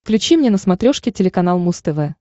включи мне на смотрешке телеканал муз тв